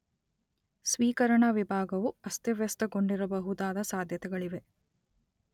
ಸ್ವೀಕರಣಾ ವಿಭಾಗವು ಅಸ್ತವ್ಯಸ್ತಗೊಂಡಿರಬಹುದಾದ ಸಾಧ್ಯತೆಗಳಿವೆ